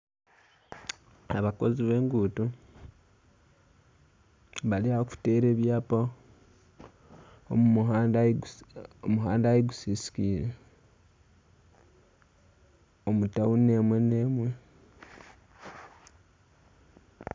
Abakozi b'enguuto bari aha kuteera ebyaapa omuhanda ahu gusisiikire omu tauni emwe n'emwe.